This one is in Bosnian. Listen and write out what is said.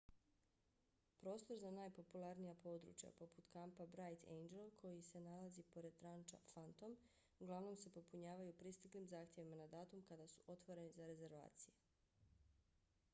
prostor za najpopularnija područja poput kampa bright angel koji se nalazi pored ranča phantom uglavnom se popunjavaju pristiglim zahtjevima na datum kada su otvoreni za rezervacije